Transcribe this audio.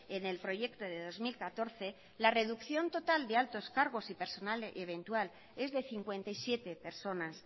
en el proyecto de dos mil catorce la reducción total de altos cargos y personal eventual es de cincuenta y siete personas